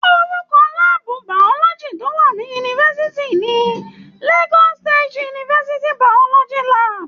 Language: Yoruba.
Orúkọ láàbù biology tó wà ní yunifásitì ni "Lagos State University, Biology Lab."